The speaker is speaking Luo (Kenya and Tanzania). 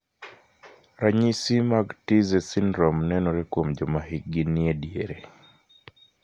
Ranyisi mag Tietze syndrome nenore kuom joma hikgi nie diere.